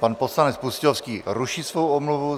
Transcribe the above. Pan poslanec Pustějovský ruší svou omluvu.